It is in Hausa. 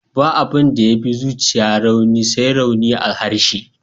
Ba abin da ya fi zuciya rauni, sai rauni a harshe.